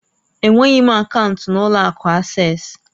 Enweghị m akaụntụ n'ụlọ akụ Asés